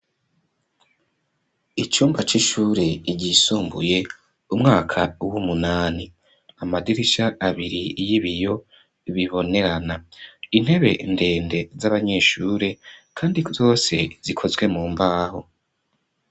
Icumba c'ishure iryisumbuye umwaka w'umunani amadirisha abiri y'ibiyo bibonerana intebe ndende z'abanyeshure, kandi zose zikozwe mu mbaho.